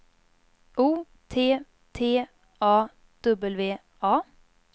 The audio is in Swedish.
O T T A W A